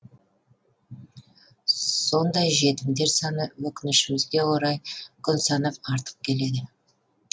сондай жетімдер саны өкінішімізге орай күн санап артып келеді